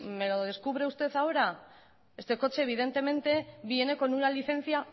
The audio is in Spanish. me lo descubre usted ahora este coche evidentemente viene con una licencia